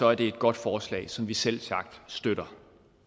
er det et godt forslag som vi selvsagt støtter